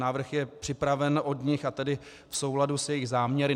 Návrh je připraven od nich, a tedy v souladu s jejich záměry.